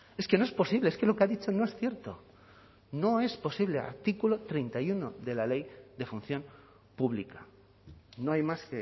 es que no es posible es que lo que ha dicho no es cierto no es posible al artículo treinta y uno de la ley de función pública no hay más